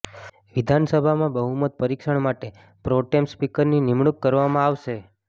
વિધાનસભામાં બહુમત પરિક્ષણ માટે પ્રોટેમ સ્પીકરની નિમણૂંક કરવામાં આવશે